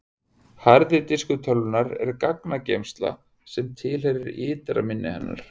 harði diskur tölvunnar er gagnageymsla sem tilheyrir ytra minni hennar